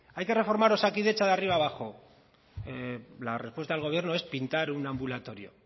hay que reforma osakidetza de arriba abajo la respuesta del gobierno es pintar un ambulatorio